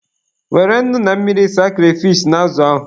Were nnu na mmiri saa kreyfish na azụ ahụ.